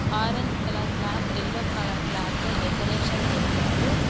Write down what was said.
Orange colour cloth yellow colour cloth తో decoration చేశారు.